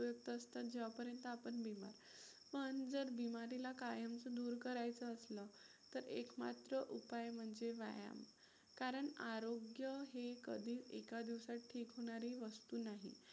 तात्पुरता उपयोगी असतात जेव्हापर्यंत आपण बीमार पण जर बीमारीला कायमचं दूर करायचं असलं तर एक मात्र उपाय म्हणजे व्यायाम. कारण आरोग्य हे कधी एका दिवसात ठीक होणारी वस्तु नाही.